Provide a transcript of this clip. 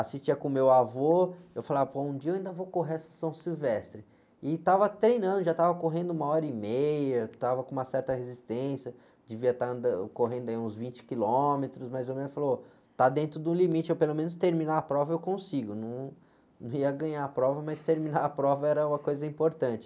assistia com o meu avô, eu falava, pô, um dia eu ainda vou correr essa São Silvestre, e estava treinando, já estava correndo uma hora e meia, estava com uma certa resistência, devia estar anda, correndo aí uns vinte quilômetros, mais ou menos, eu falo, está dentro do limite, pelo menos terminar a prova eu consigo, num, não ia ganhar a prova, mas terminar a prova era uma coisa importante.